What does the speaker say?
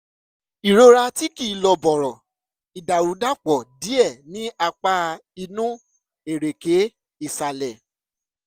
ìrora tí kìí lọ bọ̀rọ̀/ìdàrúdàpọ̀ díẹ̀ ní apá inú ẹ̀rẹ̀kẹ́ ìsàlẹ̀